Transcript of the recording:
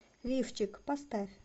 лифчик поставь